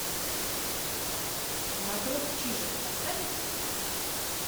матрос чижик поставь